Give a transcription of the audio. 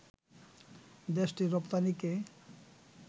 দেশটির রপ্তানিকে